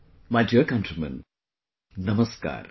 My dear countrymen, Namaskar